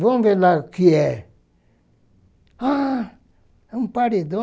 Vamos ver lá o que é. Ah, é um paredão.